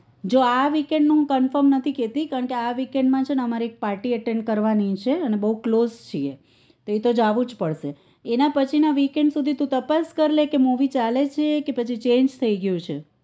જો આ weekend નું હું confirm નથી કારણ કે આ weekend માં છે ને અમારે એક party attend કરવાની છે અને બહુ close છીએ તો એ તો જવું જ પડશે એનાં પછી ના weekend સુધી તું તપાસ કરી લે કે મુવી ચાલે છે કે પછી change થઇ ગયું છે